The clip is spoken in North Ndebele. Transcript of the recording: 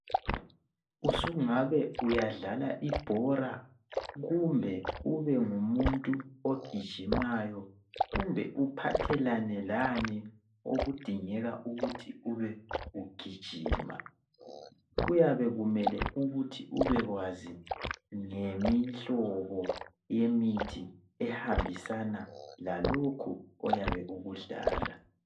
Usungabe uyadlala ibhora kumbe ube ngumuntu ogijimayo kumbe uphathelane lani okudingeka ukuthi ube ugijima kuyabe kumele ukuthi ubekwazi ngemihlobo yemithi ehambisana lalokho oyabe ukudlala.